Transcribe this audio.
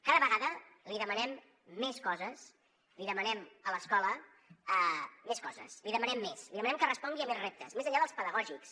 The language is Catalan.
cada vegada li demanem més coses li demanem a l’escola més coses li demanem més li demanem que respongui a més reptes més enllà dels pedagògics